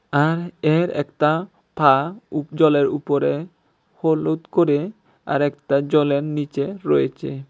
আর এর একটা পা উপ জলের উপরে হলুদ করে আর একটা জলের নীচে রয়েছে।